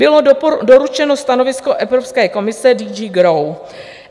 Bylo doručeno stanovisko Evropské komise DG GROW.